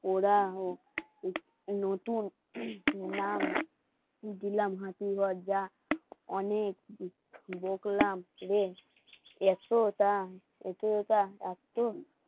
দিলাম হাঁচি, দরজা অনেক এতটা